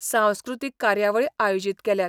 सांस्कृतीक कार्यावळी आयोजीत केल्यात.